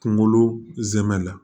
Kunkolo zɛmɛ la